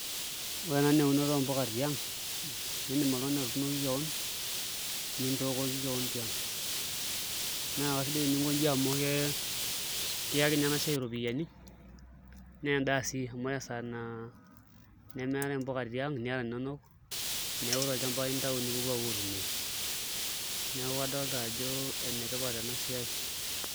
Ore ena naa eunoto oompuka tiang' iindim oltung'ani atuunoki kewon nintookoki kewon tiang' naa kasidai teninkoji amu kiyaki ninye ena siai iropiyiani naa endaa sii amu ore esaa naa nemeetai mpuka tiang' niata ininonok, neeku tolchamba ake intayu nipuopuo aitumiaa neeku adolta ajo enetipat ena siai.